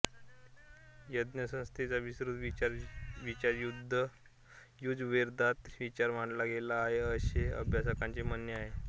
यज्ञसंस्थेचा विस्तृत विचार यजुर्वेदात विचार मांडला गेला आहे असे अभ्यासकांचे म्हणणे आहे